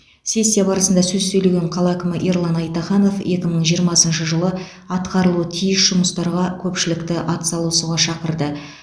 сессия барысында сөз сөйлеген қала әкімі ерлан айтаханов екі мың жиырмасыншы жылы атқарылуы тиіс жұмыстарға көпшілікті атсалысуға шақырды